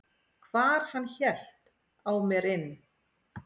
hvar hann hélt á mer inn.